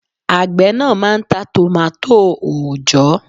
Àgbẹ̀ náà máà ń ta tòmátò òòjọ́